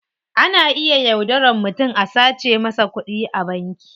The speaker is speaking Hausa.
Ana iya yaudaran mutum a sace masa kudi a banki.